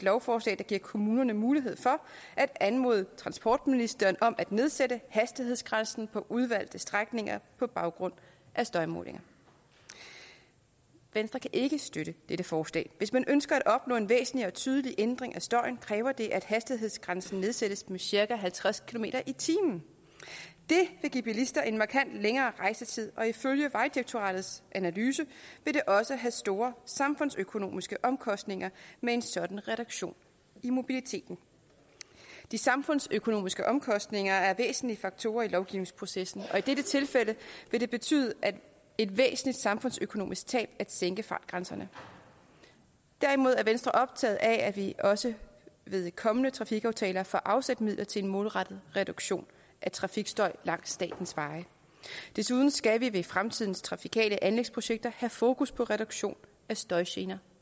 lovforslag der giver kommunerne mulighed for at anmode transportministeren om at nedsætte hastighedsgrænsen på udvalgte strækninger på baggrund af støjmålinger venstre kan ikke støtte dette forslag hvis man ønsker at opnå en væsentlig og tydelig ændring af støjen kræver det at hastighedsgrænsen nedsættes med cirka halvtreds kilometer per time det vil give bilister en markant længere rejsetid og ifølge vejdirektoratets analyse vil det også have store samfundsøkonomiske omkostninger med en sådan reduktion i mobiliteten de samfundsøkonomiske omkostninger er væsentlige faktorer i lovgivningsprocessen og i dette tilfælde vil det betyde et væsentligt samfundsøkonomisk tab at sænke fartgrænserne derimod er venstre optaget af at vi også ved kommende trafikaftaler får afsat midler til en målrettet reduktion af trafikstøj langs statens veje desuden skal vi ved fremtidens trafikale anlægsprojekter have fokus på reduktion af støjgener